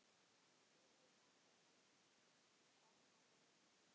Þuríður mælti banna mér slíkt.